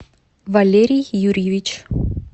валерий юрьевич